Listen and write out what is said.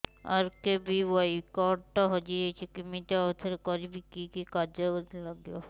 RKBY card ଟା ହଜିଯାଇଛି କିମିତି ଆଉଥରେ କରିବି କି କି କାଗଜ ଲାଗିବ